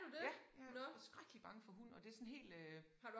Ja jeg skrækkelig bange for hund og det sådan helt øh